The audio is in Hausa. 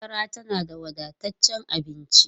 Madara tana da wadataccen abinci.